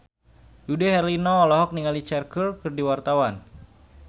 Dude Herlino olohok ningali Cher keur diwawancara